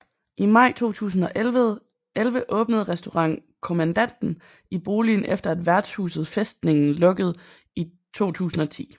I maj 2011 åbnede Restaurant Kommandanten i boligen efter at Vertshuset Festningen lukkede i 2010